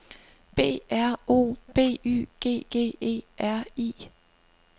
B R O B Y G G E R I